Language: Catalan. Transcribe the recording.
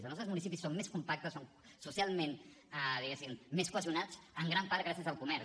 els nostres municipis són més compactes són socialment diguéssim més cohesionats en gran part gràcies al comerç